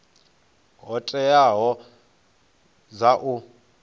hoea dzo teaho dza u